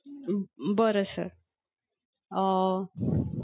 हम्म बरं sir. अं